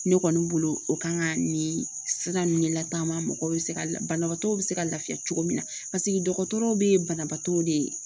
Ne kɔni bolo o kan ka nin sira ninnu de latanga mɔgɔw bɛ se banabaatɔ bɛ se ka lafiya cogo min na paseke dɔgɔtɔrɔw bɛ banabaatɔw de